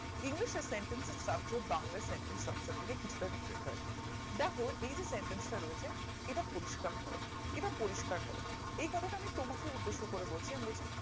english এর sentence চার্চ Bangla sentence তারচেয়ে কিছু টা different হয় দ্যাখো এই যে sentence টা রয়েছে এটা পরিষ্কার করো এটা পরিষ্কার করো এই কথা টা তোমাকে উদ্দেশ্য করে বলছি আমি বলছি